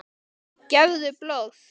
Gefðu blóð.